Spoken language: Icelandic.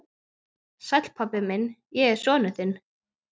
Sæll, pabbi minn, ég er sonur þinn.